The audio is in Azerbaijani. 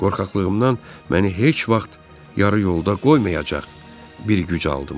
Qorxaqlığımdan məni heç vaxt yarı yolda qoymayacaq bir güc aldım.